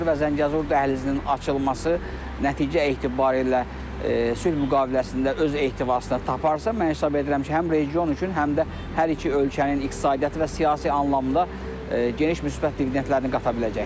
və Zəngəzur dəhlizinin açılması nəticə etibarilə sülh müqaviləsində öz ehtivasını taparsa, mən hesab edirəm ki, həm region üçün, həm də hər iki ölkənin iqtisadiyyatı və siyasi anlamda geniş müsbət dividentləri qata biləcəkdir.